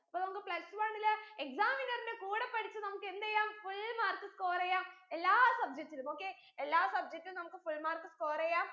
അപ്പൊ നമ്മക്ക് plus one ലെ exam winner ന്റെ കൂടേ പഠിച്ച് നമ്മുക്ക് എന്തെയ്യാം full mark score എയ്യാം എല്ലാ subject ലും okay എല്ലാ subject ഉം നമ്മുക്ക് full mark score യ്യാം